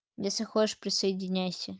если хочешь присоединяйся